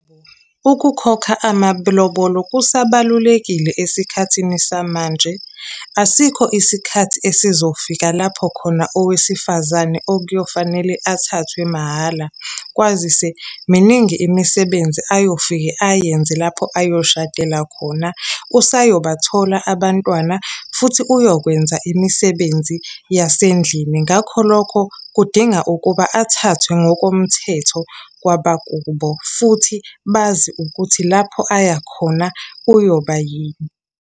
Ukukhokha amalobolo kusabalulekile esikhathini samanje. Asikho isikhathi esizofika lapho khona owesifazane okuyofanele athathwe mahhala, kwazise miningi imisebenzi ayofike ayenze lapho ayoshadela khona. Usayobathola abantwana, futhi uyokwenza imisebenzi yasendlini. Ngakho lokho kudinga ukuba athathwe ngokomthetho kwabakubo, futhi bazi ukuthi lapho aya khona uyoba yini.